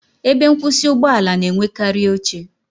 Ebe nkwusi Ụgbọ ala na-enwekarị oche